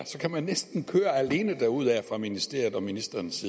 kan man næsten køre alene derudaf fra ministeriets og ministerens